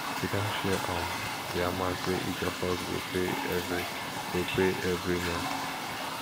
we don share um di amount wey each of us go pay every go pay every month